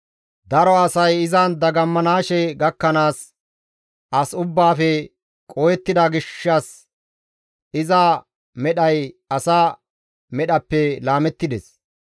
Daro asay izan dagamanaashe gakkanaas as ubbaafe qohettida gishshas iza medhay asa medhappe laamettides.